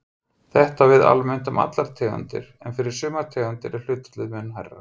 Þetta á við almennt um allar tegundir en fyrir sumar tegundir er hlutfallið mun hærra.